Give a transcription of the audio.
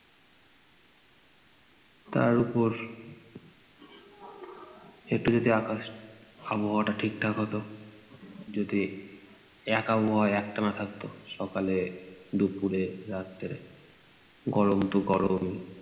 তার ওপর একটু যদি আকাশ আবহাওয়াটা ঠিক থাক হতো, যদি এক আবহাওয়া একটানা থাকতো সকালে, দুপুরে, রাত্রে। গরম তো গরমই।